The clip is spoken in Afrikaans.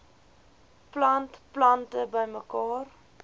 plant plante bymekaar